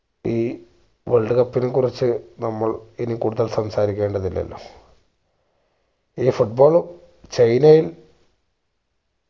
ഈ world cup നെ കുറിച്ച് നമ്മൾ ഇനി കൂടുതൽ സംസാരിക്കേണ്ടത് ഇല്ലല്ലോ ഈ foot ball ചൈനയിൽ